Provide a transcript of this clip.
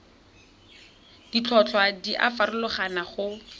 ditlhotlhwa di a farologana go